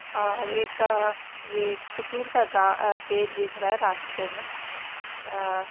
और एक ये खजूर का गा अ पेड़ दिख रहा है रास्ते मे अअअ --